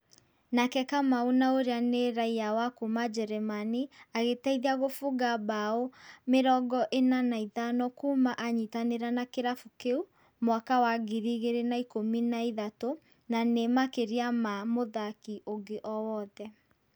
Nake Kamau na ũria nĩ raia wa kuma Jeremani agĩteithia kubunga mbao mĩrongo ĩna na ithano kuma anyitanĩra na kĩrabu kĩu mwaka wa ngiri igĩrĩ na ikũmi na ithatũ na nĩ makĩria ma mũthaki ũngĩ owothe.